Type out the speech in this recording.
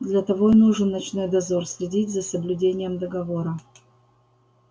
для того и нужен ночной дозор следить за соблюдением договора